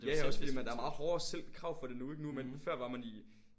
Ja ja også fordi man der er meget hårdere selv krav for det nu ikke nu man før var man i